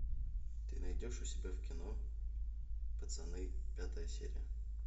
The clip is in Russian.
ты найдешь у себя в кино пацаны пятая серия